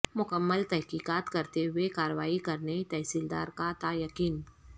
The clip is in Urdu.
مکمل تحقیقات کرتے ہوئے کارروائی کرنے تحصیلدار کا تیقن